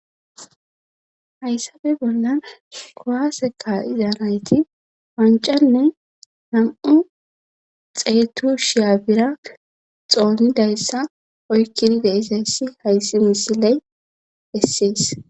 hayssappe bollan kuwaseka izanayti wancanne nam7u xeetu shiya bira xoonidayssa oykkidide isayssi hayssi misiley essees